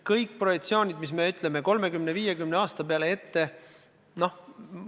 Kõik projektsioonid, mis me teeme 30–50 aasta peale ette, on spekulatiivsed.